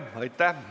Aitäh!